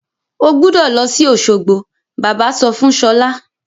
O gbúdọ̀ lọ sí Òsogbo! Bàbá sọ fún Ṣọlá.